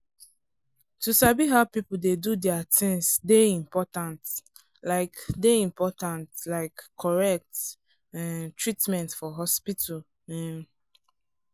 to sabi how people dey do their things dey important like dey important like correct um treatment for hospital um